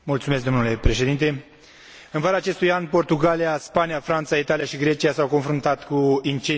În vara acestui an, Portugalia, Spania, Franța, Italia și Grecia s au confruntat cu incendii forestiere majore.